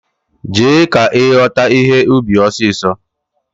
Jee! ka ighota ihe ubi osiso!